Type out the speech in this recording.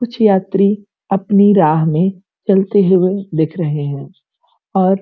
कुछ यात्री अपनी राह में चलते हुए दिख रहे हैं और --